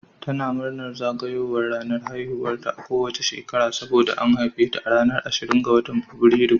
Tana murnar zagayowar ranar haihuwarta a kowace shekara saboda an haife ta a ranar ashirin ga Fabrairu